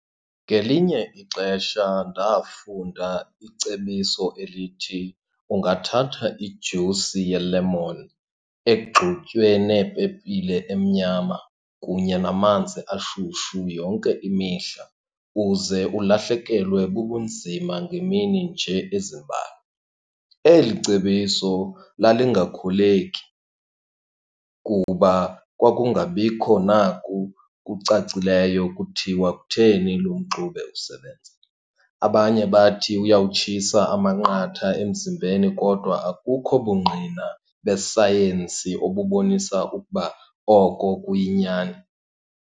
Ngelinye ixesha ndafunda icebiso elithi ungathatha ijusi yelemoni egxutywe nepepile emnyama kunye namanzi ashushu yonke imihla uze ulahlekelwe bubunzima ngeemini nje ezimbalwa. Eli cebiso lalingakholeki kuba kwakungabikho naku kucacileyo kuthiwa kutheni lo mxube usebenza. Abanye bathi uyawutshisa amanqatha emzimbeni kodwa akukho bungqina besayensi obubonisa ukuba oko kuyinyani.